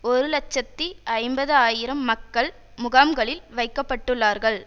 ஒரு இலட்சத்தி ஐம்பது ஆயிரம் மக்கள் முகாம்களில் வைக்க பட்டுள்ளார்கள்